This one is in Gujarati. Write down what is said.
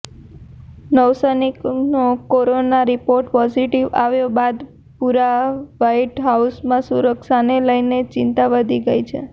નૌસૈનિકનો કોરોના રિપોર્ટ પોઝિટિવ આવ્યા બાદ પૂરા વ્હાઈટ હાઉસમાં સુરક્ષાને લઈને ચિંતા વધી ગઈ છે